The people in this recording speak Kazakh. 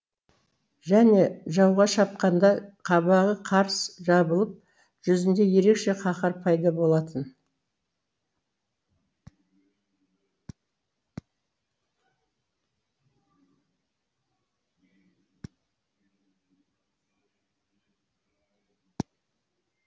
және жауға шапқанда қабағы қарс жабылып жүзінде ерекше қаһар пайда болатын